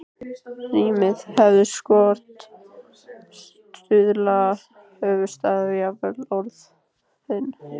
Rímið hefur skort, stuðlana, höfuðstafinn, jafnvel orðin.